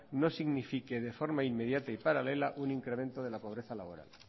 no signifique de forma inmediata y paralela un incremento de la pobreza laboral